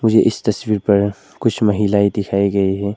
मुझे इस तस्वीर पर कुछ महिलाएं दिखाए गए हैं।